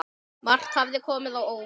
Margt hafði komið á óvart.